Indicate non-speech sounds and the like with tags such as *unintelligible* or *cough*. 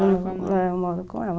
*unintelligible* Eu moro com ela.